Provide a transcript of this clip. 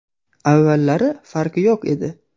Avvallari farqi yo‘q edi.